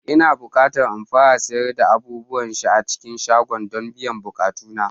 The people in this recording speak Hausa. Ina bukata in fara sayar da abubuwan sha a cikin shagona don biyan bukatuna